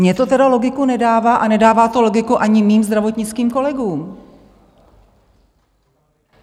Mně to teda logiku nedává a nedává to logiku ani mým zdravotnickým kolegům.